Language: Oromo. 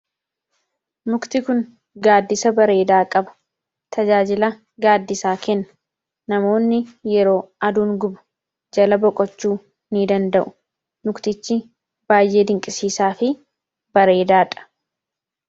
mukti kun gaaddisa bareedaa qaba. tajaajila gaaddisaa kenna. namoonni yeroo aduun gubu jala boqochuu ni danda'u muktichi baay'ee dinqisiisaa fi bareedaadha.